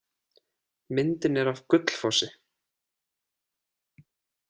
Myndin er af Gullfossi.